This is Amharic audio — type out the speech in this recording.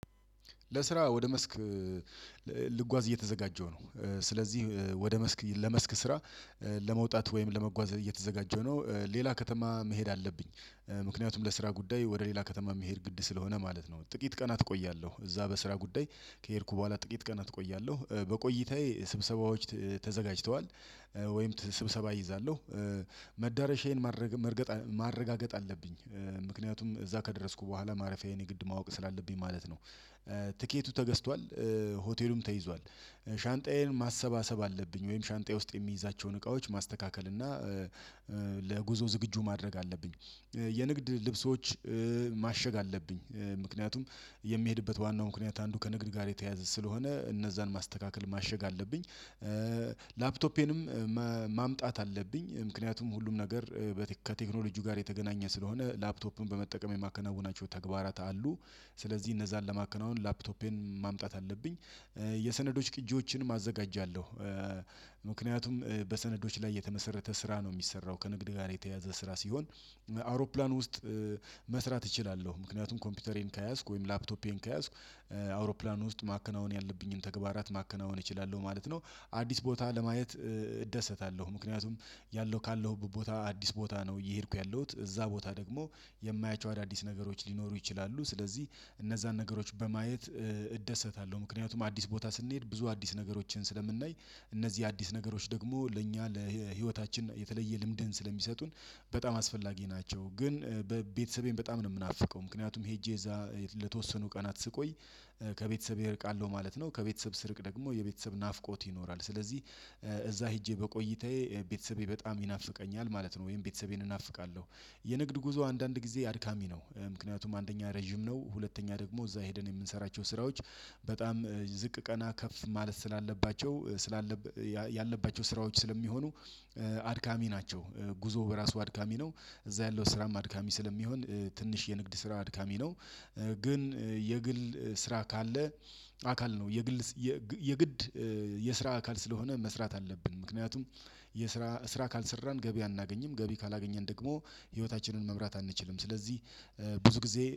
ለስራ ወደ መስክ ልጓዝ እየተዘጋጀው ነው። ስለዚህ ወደ መስክ ለመስክ ስራ ለመውጣት ወይም ለመጓዝ እየተዘጋጀው ነው ሌላ ከተማ መሄድ አለብኝ። ምክንያቱም ለስራ ጉዳይ ወደ ሌላ ከተማ መሄድ ግድ ስለሆነ ማለት ነው። ጥቂት ቀናት እቆያለሁ እዛ በስራ ጉዳይ ከሄድኩ በኋላ ጥቂት ቀናት እቆያለሁ በቆይታዬ ስብሰባዎች ተዘጋጅተዋል። ወይም ስብሰባ እይዛለሁ መዳረሻዬን ማረጋገጥ አለብኝ። ምክንያቱም እዛ ከደረስኩ በኋላ ማረፊያዬን የግድ ማወቅ ስላለብኝ ማለት ነው። ትኬቱ ተገዝቷል። ሆቴሉም ተይዟል። ሻንጣዬን ማሰባሰብ አለብኝ ወይም ሻንጣዬ ውስጥ የሚይዛቸውን እቃዎች ማስተካከል እና ለጉዞ ዝግጁ ማድረግ አለብኝ። የንግድ ልብሶች ማሸግ አለብኝ ምክንያቱም የሚሄድበት ዋናው ምክንያት አንዱ ከንግድ ጋር የተያዘ ስለሆነ እነዛን ማስተካከል ማሸግ አለብኝ። ላፕቶፔንም ማምጣት አለብኝ ምክንያቱም ሁሉም ነገር ከቴክኖሎጂው ጋር የተገናኘ ስለሆነ ላፕቶፕን በመጠቀም የማከናውናቸው ተግባራት አሉ። ስለዚህ እነዛን ለማከናወን ላፕቶፔን ማምጣት አለብኝ። የሰነዶች ቅጂዎችንም አዘጋጃለሁ። በሰነዶች ላይ የተመሰረተ ስራ ነው የሚሰራው ከንግድ ጋር የተያዘ ስራ ሲሆን። አውሮፕላን ውስጥ መስራት እችላለሁ ምክንያቱም ኮምፒውተሬን ከያዝኩ ወይም ላፕቶፔን ከያዝኩ አውሮፕላን ውስጥ ማከናወን ያለብኝን ተግባራት ማከናወን እችላለሁ ማለት ነው። አዲስ ቦታ ለማየት እደሰታለሁ። ምክንያቱም ያለው ካለሁበት ቦታ አዲስ ቦታ ነው እየሄድኩ ያለሁት እዛ ቦታ ደግሞ የማያቸው አዳዲስ ነገሮች ሊኖሩ ይችላሉ። ስለዚህ እነዛን ነገሮች በማየት እደሰታለሁ። ምክንያቱም አዲስ ቦታ ስንሄድ ብዙ አዲስ ነገሮችን ስለምናይ እነዚህ አዲስ ነገሮች ደግሞ ለእኛ ለህይወታችን የተለየ ልምድን ስለሚሰጡን በጣም አስፈላጊ ናቸው። ግን ቤተሰቤን በጣም ነው የምናፍቀው ምክንያቱም ሄጄ እዛ ለተወሰኑ ቀናት ስቆይ ከቤተሰብ እርቃለሁ ማለት ነው። ከቤተሰብ ስርቅ ደግሞ የቤተሰብ ናፍቆት ይኖራል። ስለዚህ እዛ ሄጄ በቆይታዬ ቤተሰቤ በጣም ይናፍቀኛል ማለት ነው። ወይም ቤተሰቤን እናፍቃለሁ። የንግድ ጉዞ አንዳንድ ጊዜ አድካሚ ነው። ምክንያቱም አንደኛ ረጅም ነው ሁለተኛ ደግሞ እዛ ሄደን የምንሰራቸው ስራዎች በጣም ዝቅ ቀና ከፍ ማለት ስላለባቸው ስላለበት ስራዎች ስለሚሆኑ አድካሚ ናቸው። ጉዞ በራሱ አድካሚ ነው። እዛ ያለው ስራም አድካሚ ስለሚሆን ትንሽ የንግድ ስራ አድካሚ ነው። ግን የግል ስራ ካለ አካል ነው። የግድ የስራ አካል ስለሆነ መስራት አለብን። ምክንያቱም የስራ ስራ ካልሰራን ገቢ አናገኝም። ገቢ ካላገኘን ደግሞ ህይወታችንን መምራት አንችልም። ስለዚህ ብዙ ጊዜ